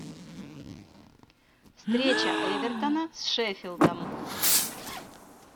встреча эвертона с шеффилдом